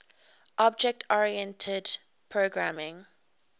object oriented programming